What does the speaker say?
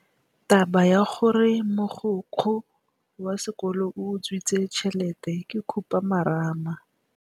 Taba ya gore mogokgo wa sekolo o utswitse tšhelete ke khupamarama.